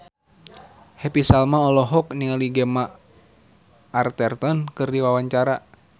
Happy Salma olohok ningali Gemma Arterton keur diwawancara